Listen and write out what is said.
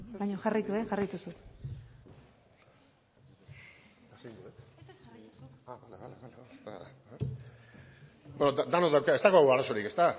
baino jarraitu jarraitu zu ez dago arazorik ezta